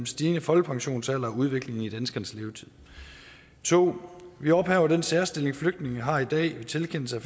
stigende folkepensionsalder og udviklingen i danskernes levetid 2 vi ophæver den særstilling flygtninge har i dag ved tilkendelse